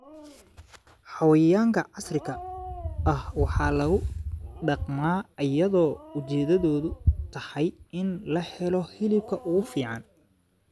Xayawaanka casriga ah waxaa lagu dhaqmaa iyadoo ujeedadu tahay in la helo hilibka ugu fiican.